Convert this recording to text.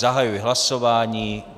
Zahajuji hlasování.